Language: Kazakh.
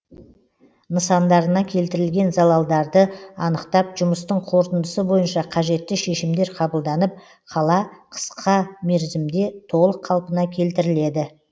нысандарына келтірілген залаларды анықтап жұмыстың қорытындысы бойынша қажетті шешімдер қабылданып қала қысқа мерзімде толық қалпына келтіріледі